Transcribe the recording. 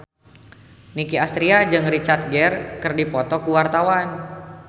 Nicky Astria jeung Richard Gere keur dipoto ku wartawan